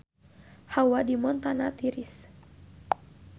Hawa di Montana tiris